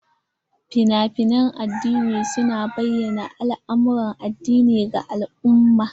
Fina-finan addini su na bayyana al'amuran addini ga al'umma.